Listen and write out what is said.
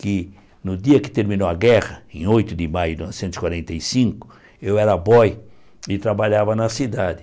que no dia que terminou a guerra, em oito de maio de mil novecentos e quarenta e cinco, eu era boy e trabalhava na cidade.